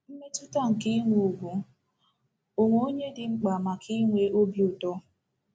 Mmetụta nke inwe ùgwù onwe onye dị mkpa maka inwe obi ụtọ.